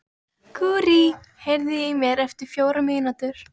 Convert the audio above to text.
Gurrí, heyrðu í mér eftir fjórar mínútur.